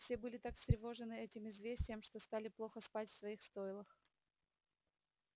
все были так встревожены этим известием что стали плохо спать в своих стойлах